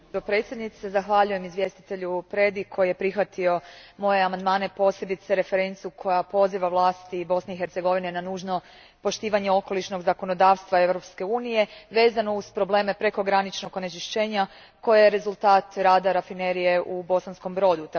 Gospođo predsjednice, zahvaljujem izvjestitelju Predi koji je prihvatio moje amandmane, posebice referencu kojom se poziva vlasti Bosne i Hercegovine na nužno poštivanje okolišnog zakonodavstva Europske unije vezano uz probleme prekograničnog onečišćenja koje je rezultat rada rafinerije u Bosanskom Brodu.